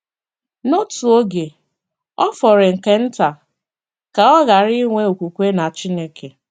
N'otu oge, ọ fọrọ nke nta ka ọ ghara inwe okwukwe na Chineke.